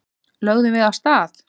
Lögðum við af stað.